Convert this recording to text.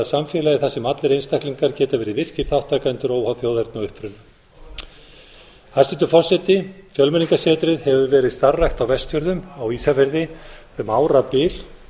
samfélagi þar sem allir einstaklingar geti verið virkir þátttakendur óháð þjóðerni og uppruna hæstvirtur forseti fjölmenningarsetrið hefur verið starfrækt á vestfjörðum á ísafirði um árabil